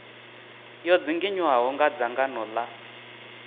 yo dzinginywaho nga dzangano la